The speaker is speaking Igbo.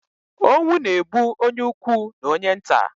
Onwu na-egbu onye ukwu na onye nta